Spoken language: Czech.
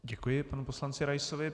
Děkuji panu poslanci Raisovi.